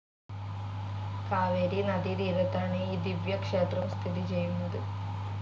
കാവേരി നദീതീരത്താണ് ഈ ദിവ്യക്ഷേത്രം സ്ഥിതിചെയ്യുന്നത്.